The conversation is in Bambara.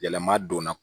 Yɛlɛma donna